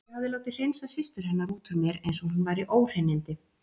Ég hafði látið hreinsa systur hennar út úr mér eins og hún væri óhreinindi.